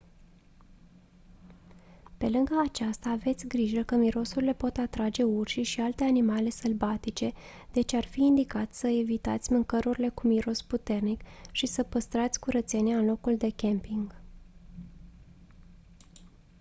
pe lângă aceasta aveți grijă că mirosurile pot atrage urșii și alte animale sălbatice deci ar fi indicat să evitați mâncărurile cu miros puternic și să păstrați curățenia în locul de camping